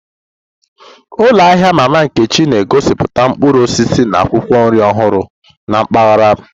Ụlọ ahịa Mama Nkechi na-egosiputa mkpụrụ osisi na akwụkwọ nri ọhụrụ na mpaghara m.